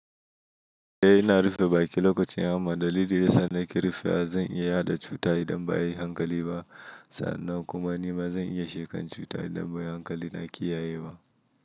Eh ina rufe baki lokacin hamma. Dalili yasa nake rufewa, zan iya yaɗa cuta idan ba a yi hankali ba. Sannan kuma ni ma zan iya shekan cuta idan ba a yi hankali na kiyaye ba.